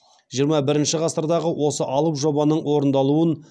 жиырма бірінші ғасырдағы осы алып жобаның орындалуын